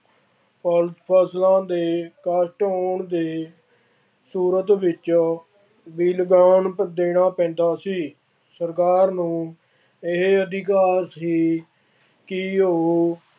ਫਲਸ ਫਸਲਾਂ ਦੇ ਘੱਟ ਹੋਣ ਦੇ ਸੂਰਤ ਵਿੱਚ ਵੀ ਲਗਾਨ ਦੇਣਾ ਪੈਂਦਾ ਸੀ। ਸਰਕਾਰ ਨੂੰ ਇਹ ਅਧਿਕਾਰ ਸੀ ਕਿ ਉਹ